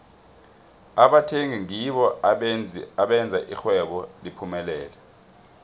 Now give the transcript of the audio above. abathengi ngibo abenza ixhwebo liphumelele